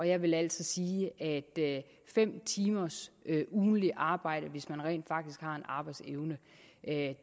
jeg vil altså sige at fem timers ugentlig arbejde hvis man rent faktisk har en arbejdsevne ikke